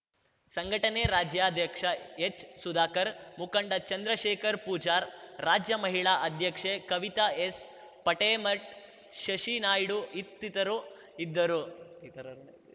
ಸಂಘಟನೆ ರಾಜ್ಯಾಧ್ಯಕ್ಷ ಎಚ್‌ಸುಧಾಕರ್‌ ಮುಖಂಡ ಚಂದ್ರಶೇಖರ್ ಪೂಜಾರ್‌ ರಾಜ್ಯ ಮಹಿಳಾ ಅಧ್ಯಕ್ಷೆ ಕವಿತಾ ಎಸ್‌ಪೇಟೇಮಠ್‌ ಶಶಿನಾಯ್ಡು ಇತ್ತಿತರು ಇದ್ದರುಇತರರು